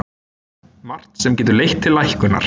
Margt sem getur leitt til lækkunar